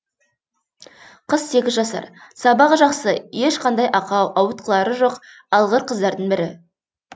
қыз сегіз жасар сабағы жақсы ешқандай ақау ауытқулары жоқ алғыр қыздардың бірі